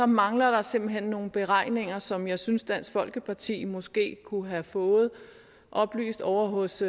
mangler der simpelt hen nogle beregninger som jeg synes dansk folkeparti måske kunne have fået oplyst ovre hos